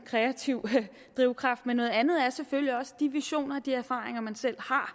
kreativ drivkraft men noget andet er selvfølgelig også de visioner og de erfaringer man selv har